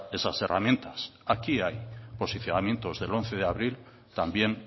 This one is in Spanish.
esas herramientas aquí hay posicionamientos del once de abril también